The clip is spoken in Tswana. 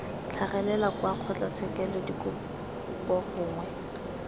tlhagelela kwa kgotlatshekelo dikopo gongwe